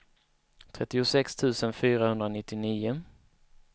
trettiosex tusen fyrahundranittionio